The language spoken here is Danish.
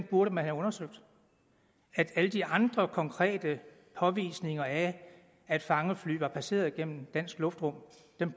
burde man have undersøgt at alle de andre konkrete påvisninger af at fangefly var passeret gennem dansk luftrum